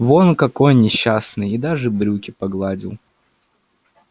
вон какой несчастный и даже брюки погладил